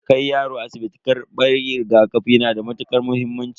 Kai yaro asibiti karban rigakafi yana da matukar muhimmanci.